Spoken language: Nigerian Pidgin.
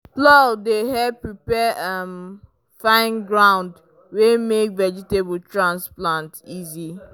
plow dey help prepare um fine ground wey make vegetable transplant easy.